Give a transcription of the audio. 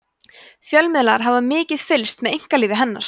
fjölmiðlar hafa mikið fylgst með einkalífi hennar